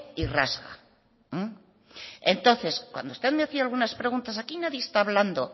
y rasga entonces cuando usted me hacía algunas preguntas aquí nadie está hablando